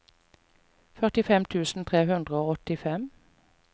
førtifem tusen tre hundre og åttifem